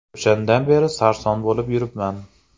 O‘shandan beri sarson bo‘lib yuribman”.